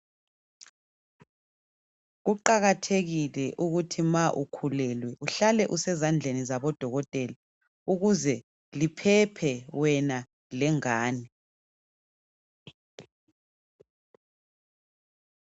Kuqakathekile ukuthi ma ukhulelwe uhlale usezandleni zabo dokotela ukuze liphephe wena lengane.